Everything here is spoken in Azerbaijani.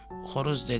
Xoruz dedi.